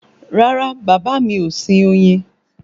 Rárá bàbá mi ò sin oyin